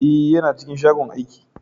Eh, yana cikin shagon aiki.